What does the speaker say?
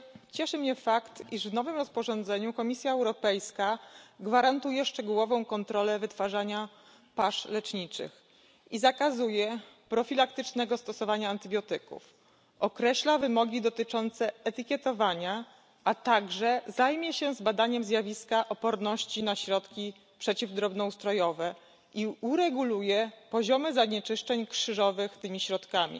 Cieszy mnie fakt, iż w nowym rozporządzeniu Komisja Europejska gwarantuje szczegółową kontrolę wytwarzania pasz leczniczych i zakazuje profilaktycznego stosowania antybiotyków, określa wymogi dotyczące etykietowania, a także zajmie się zbadaniem zjawiska oporności na środki przeciwdrobnoustrojowe i ureguluje poziomy zanieczyszczeń krzyżowych tymi środkami.